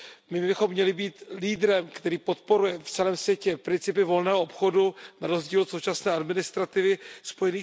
My bychom měli být lídrem, který podporuje v celém světě principy volného obchodu na rozdíl od současné administrativy USA.